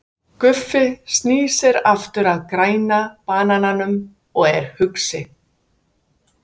Guffi snýr sér aftur að Græna banananum og er hugsi.